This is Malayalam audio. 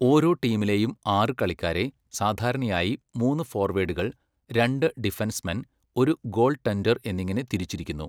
ഓരോ ടീമിലെയും ആറ് കളിക്കാരെ സാധാരണയായി മൂന്ന് ഫോർവേഡുകൾ, രണ്ട് ഡിഫെൻസ്മെൻ, ഒരു ഗോൾ ടെൻഡർ എന്നിങ്ങനെ തിരിച്ചിരിക്കുന്നു.